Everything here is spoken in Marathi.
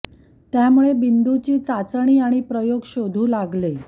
त्यामुळे बिंदू जी चाचणी आणि प्रयोग शोधू लागेल